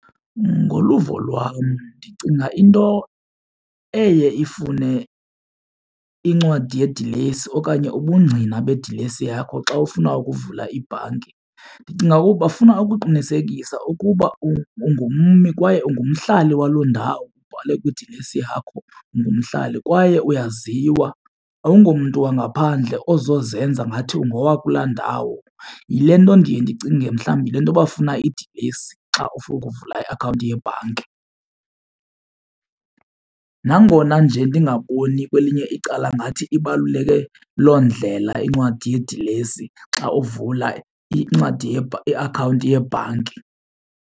Ngoluvo lwam ndicinga into eye ifune incwadi yedilesi okanye ubungqina bedilesi yakho xa ufuna ukuvula ibhanki ndicinga ukuba bafuna ukuqinisekisa ukuba ungummi kwaye ungumhlali waloo ndawo ubhale kwidilesi yakho ungumhlali. Kwaye uyaziwa awungomntu wangaphandle ozozenza ngathi ungowa kula ndawo yile nto ndiye ndicinge mhlawumbi yile nto bafuna idilesi xa ufuna ukuvula iakhawunti yebhanki. Nangona nje ndingaboni kwelinye icala ngathi ibaluleke loo ndlela incwadi yedilesi xa uvula incwadi iakhawunti yebhanki.